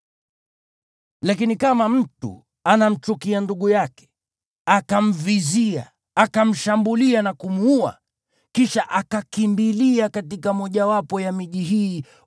Lakini kama mtu anamchukia ndugu yake, akamvizia, akamshambulia na kumuua, kisha akakimbilia katika mmojawapo ya miji hii,